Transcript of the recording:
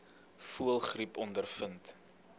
voëlgriep ondervind